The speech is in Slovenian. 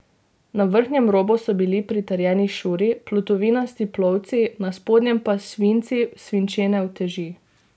Na vrhnjem robu so bili pritrjeni šuri, plutovinasti plovci, na spodnjem pa svinci, svinčene uteži.